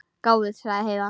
Gáfuð, sagði Heiða.